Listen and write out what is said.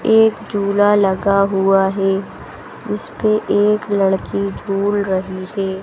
एक झूला लगा हुआ हैं जिसपे एक लड़की झूल रही हैं।